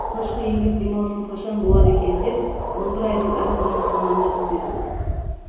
алғашқы еңбек демалысым қашан болар екен деп он бір айдың әр күнін санаумен өткізетін